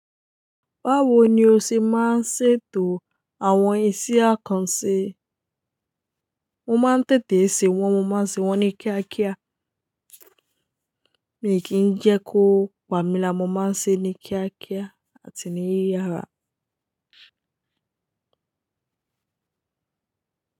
Báwo ni o ṣe máa ń ṣètò àwọn ise àkànṣe? Mo máa ń tètè sè wọ́n, mo máa ń ṣe wọ́n ní kíákíá. Mi kí ń jẹ́ kó pami lara, mo máa ń ṣe é ní kíákíá àti ní yíyára.